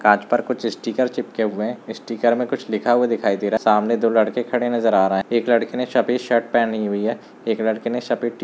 कांच पर कुछ स्टीकर चिपके हुए है स्टीकर में कुछ लिखा हुआ दिखाई दे रहा है सामने दो लड़के खड़े नजर आ रहे है एक लड़के ने सफेद शर्ट पहनी हुई है एक लड़के ने सफेद टी --